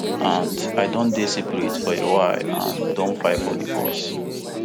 and i don dey separated for a while and don file for divorce